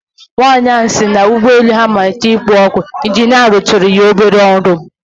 Nwanyị ahụ sịrị na ụgbọelu ha matlitere kpowe ọkụ, ịnjinịa rụtụrụ ya obere ọrụ